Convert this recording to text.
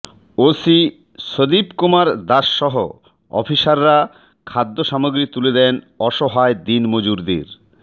OC Sadip Kumar দাশসহ অফিসাররা খাদ্যসামগ্রী তুলে দেন অসহায় দিনমজুরদের